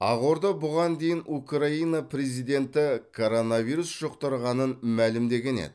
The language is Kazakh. ақорда бұған дейін украина президенті коронавирус жұқтырғанын мәлімдеген еді